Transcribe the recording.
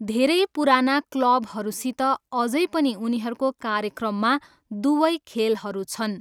धेरै पुराना क्लबहरूसित अझै पनि उनीहरूको कार्यक्रममा दुवै खेलहरू छन्।